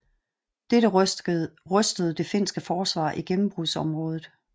Dette rystede det finske forsvar i gennembrudsområdet